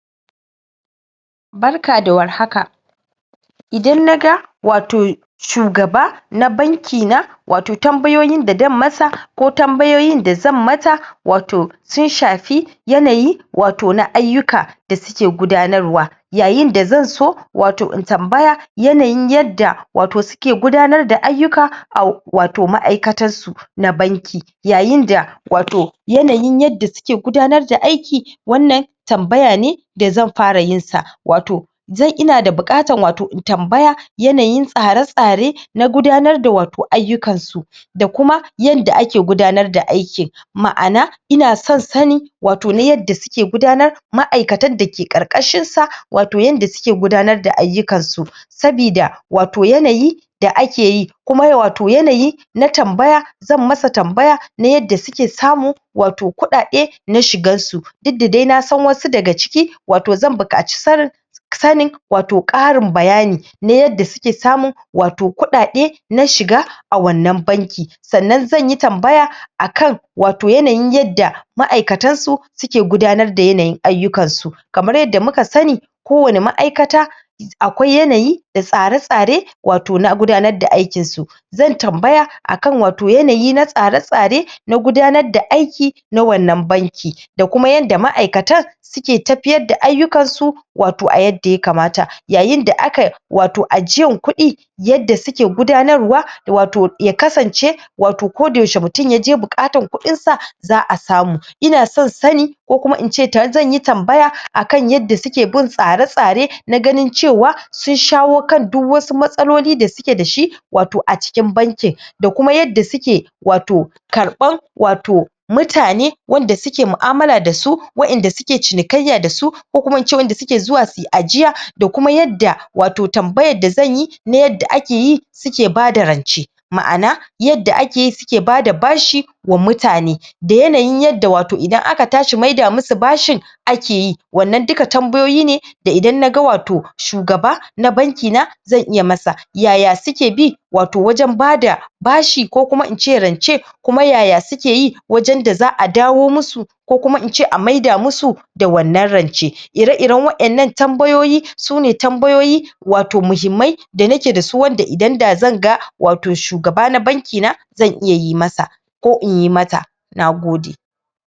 Barka da warhaka idan naga wato shugaba na banki na wato tambayoyin da dan masa ko tambayoyin da zan mata wato sun shafi yanayi wato na ayyuka da suke gudanarwa yayin da zan so wato in tambaya yanayin yadda wato suke gudanar da ayyuka a wato maʼaikatas su na banki yayin da wato yanayin yadda suke gudanar da aiki wannan tambaya ne da zan fara yin sa wato ina da buƙatan wato in tambaya yanayin tsare tsare na gudanar da wato ayyukansu da kuma yanda ake gudanar da aikin maʼana ina son sani wato na yadda suke gudanar maʼaikatan da ke ƙarƙashinsa wato yanda suke gudanar da ayyukansu sabida wato yanayi da akeyi kuma wato yanayi na tambaya zan masa tambaya na yadda suke samu wato kuɗaɗe na shigan su duk da dai nasan wasu daga ciki wato zan buƙaci sanin sanin wato ƙarin bayani na yadda suke samun wato kuɗaɗe na shiga a wannan banki sannan zanyi tambaya akan wato yanayin yadda maʼaikatansu suke gudanar da yanayin ayyukansu kamar yadda muka sani kowani maʼaikata akwai yanayi da tsare tsare wato na gudanar da aikinsu zan tambaya akan wato yanayi na tsare tsare na gudanar da aiki na wannan banki da kuma yanda maʼaikatan suke tafiyar da ayyukansu wato a yadda yakamata yayin da aka wato ajiyan kuɗi yadda suke gudanarwa wato ya kasance wato kodayaushe mutun yaje buƙatar kuɗinsa zaʼa samu ina son sani ko kuma ince zan yi tambaya akan yadda suke bin tsare tsare na ganin cewa sun shawo kan duk wasu matsaloli da suke dashi wato a cikin bankin da kuma yadda suke wato karban wato mutane wanda suke maʼamala dasu waʼinda suke cinikayya dasu ko kuma ince waʼinda suke zuwa suyi ajiya da kuma yadda wato tambayan da zanyi na yadda akeyi suke bada rance maʼana yadda akeyi suke bada bashi wa mutane da yanayin yadda wato idan aka tashi mai da musu bashin akeyi wannan duka tambayoyi ne da idan naga wato shugaba na banki na zan iya masa ya ya suke bi wato wajen bada bashi ko kuma ince rance kuma ya ya sukeyi wajen da zaʼa dawo musu ko kuma ince a mai da musu da wannan rance ire iren waʼennan tambayoyi su ne tambayoyi wato muhimmai da nake dasu wanda idan da zan ga wato shugaba na banki na zan iya yi masa ko inyi mata nagode